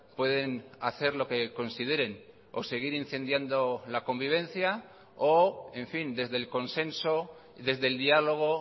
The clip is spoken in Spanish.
pueden hacer lo que consideren o seguir incendiando la convivencia o en fin desde el consenso desde el diálogo